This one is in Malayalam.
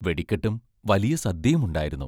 വെടിക്കെട്ടും വലിയ സദ്യയുമുണ്ടായിരുന്നു.